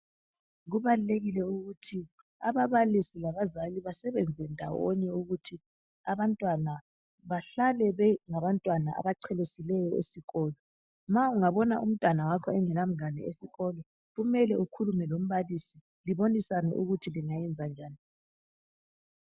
Kubalulekile ukuthi ababalisi labazali basebenze ndawonye ukuthi abantwana bahlale bengabantwana abachelesileyo esikolo. Ma ungabona umntwana wakho engelamngane esikolo kumele ukhulume lombalisi libonisane ukuthi lingayenza njani.